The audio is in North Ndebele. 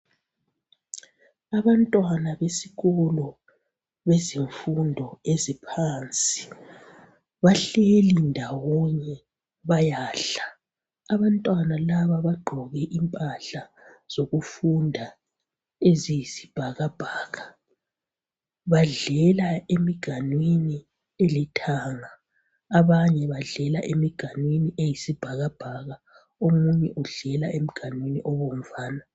Abantwana besikolo bezifundo eziphansi bahleli ndawonye bayadla. Abantwana laba bagqoke impahla zokufunda eliyisibhakabhaka. Badlela emganwini elithanga abanye badlela emganwini eyisibhakabhaka omunye udlela emganwini obomvana.